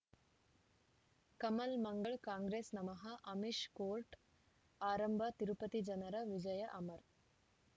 ಕಮಲ್ ಮಂಗಳ್ ಕಾಂಗ್ರೆಸ್ ನಮಃ ಅಮಿಷ್ ಕೋರ್ಟ್ ಆರಂಭ ತಿರುಪತಿ ಜನರ ವಿಜಯ ಅಮರ್